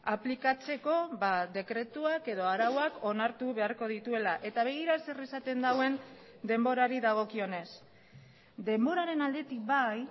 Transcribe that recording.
aplikatzeko dekretuak edo arauak onartu beharko dituela eta begira zer esaten duen denborari dagokionez denboraren aldetik bai